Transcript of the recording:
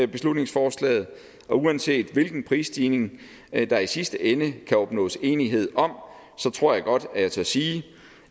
beslutningsforslaget og uanset hvilken prisstigning der i sidste ende kan opnås enighed om så tror jeg godt at jeg tør sige